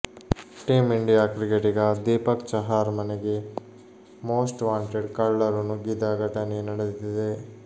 team India ಕ್ರಿಕೆಟಿಗ ದೀಪಕ್ ಚಹಾರ್ ಮನಗೆ most wanted ಕಳ್ಳರು ನುಗ್ಗಿದ ಘಟನೆ ನಡೆದಿದೆ